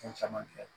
Fɛn caman kɛ